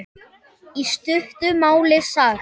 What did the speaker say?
Í stuttu máli sagt.